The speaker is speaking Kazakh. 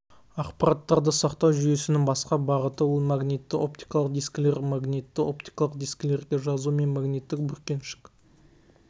ақпараттарды сақтау жүйесінің басқа бағыты ол магнитті-оптикалық дискілер магнитті оптикалық дискілерге жазу мен магниттік бүркеншік